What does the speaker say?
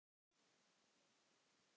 Leifi heppna.